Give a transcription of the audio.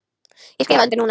Ég skrifa undir núna.